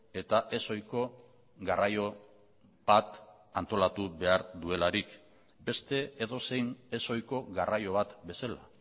eta ez ohiko garraio bat antolatu behar duelarik beste edozein ez ohiko garraio bat bezala